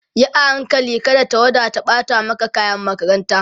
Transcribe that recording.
Yi a hankali kada tawada ta ɓata maka kayan makaranta